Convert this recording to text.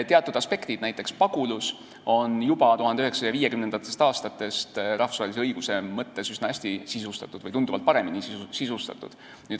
Teatud aspektid, näiteks pagulus, on juba 1950. aastatest rahvusvahelise õiguse mõttes üsna hästi sisustatud või tunduvalt paremini sisustatud.